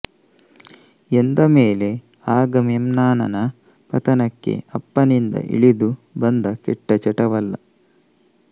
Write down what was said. ಎಂದಮೇಲೆ ಅಗಮೆಮ್ನಾನನ ಪತನಕ್ಕೆ ಅಪ್ಪನಿಂದ ಇಳಿದು ಬಂದ ಕೆಟ್ಟ ಚಟವಲ್ಲ